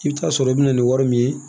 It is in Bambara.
I bɛ taa sɔrɔ i bɛ na ni wari min ye